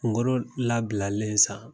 Kunkolo labilalen sa